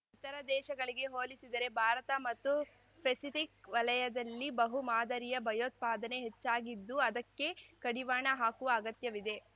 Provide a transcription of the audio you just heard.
ಇತರ ದೇಶಗಳಿಗೆ ಹೋಲಿಸಿದರೆ ಭಾರತ ಮತ್ತು ಪೆಸಿಫಿಕ್ ವಲಯದಲ್ಲಿ ಬಹು ಮಾದರಿಯ ಭಯೋತ್ಪಾದನೆ ಹೆಚ್ಚಾಗಿದ್ದು ಅದಕ್ಕೆ ಕಡಿವಾಣ ಹಾಕುವ ಅಗತ್ಯವಿದೆ